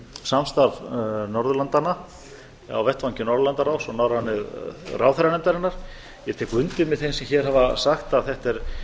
samstarf norðurlandanna á vettvangi norðurlandaráðs og norrænu ráðherranefndarinnar ég tek undir með þeim sem hér hafa sagt að þetta er